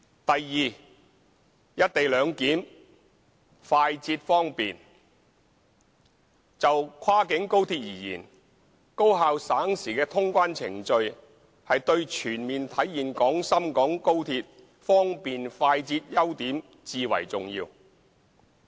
b "一地兩檢"快捷方便就跨境高鐵而言，高效省時的通關程序對全面體現廣深港高鐵方便、快捷的優點至為重要。